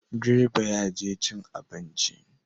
Direba ya je cin abinci